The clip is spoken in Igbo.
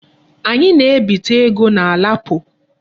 Anyị na-ebite ego na LAPO.